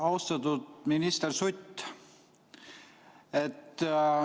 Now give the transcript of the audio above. Austatud minister Sutt!